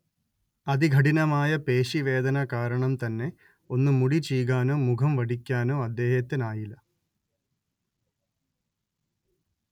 അതികഠിനമായ പേശി വേദന കാരണം തന്നെ ഒന്ന് മുടി ചീകാനോ മുഖം വടിക്കാനൊ അദ്ദേഹത്തിനായില്ല